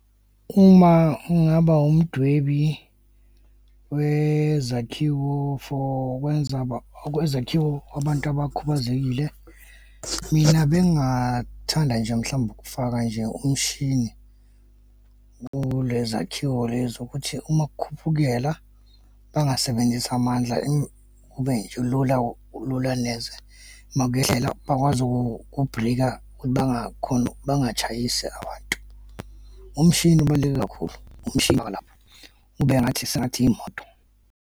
Uma ngingaba umdwebi wezakhiwo for wezakhiwo abantu abakhubazekile, mina bengingathanda nje, mhlawumbe ukufaka nje umshini kulezakhiwo lezi ukuthi uma kukhupukela bangasebenzisa amandla kube nje lula uma kuyehlela bakwazi ukubrika ukuthi bangatshayisi abantu. Umshini ubaluleke kakhulu, umshini walapho kube ngathi sengathi imoto.